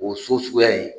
O so suguya in